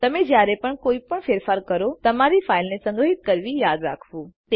તમે જયારે પણ કોઈ પણ ફેરફાર કરો તમારી ફાઈલને સંગ્રહિત કરવી યાદ રાખવું